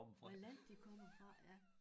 Hvad land de kommer fra ja